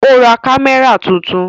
Ó ra kámẹ́rà tuntun